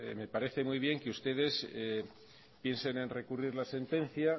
me parece muy bien que ustedes piensen en recurrir la sentencia